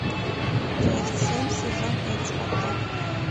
часть семь сезон пять спартак